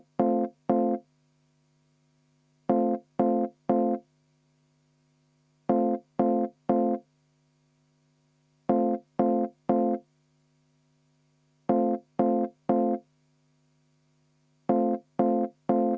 Juhtivkomisjoni ettepanek on jätta arvestamata.